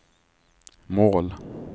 mål